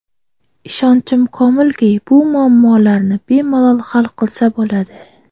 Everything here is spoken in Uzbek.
Ishonchim komilki, bu muammolarni bemalol hal qilsa bo‘ladi.